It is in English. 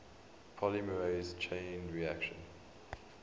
polymerase chain reaction